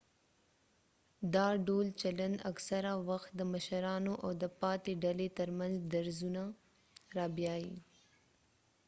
دا ډول چلند اکثره وخت د مشرانو او د پاتې ډلې ترمنځ درزونه رابیايي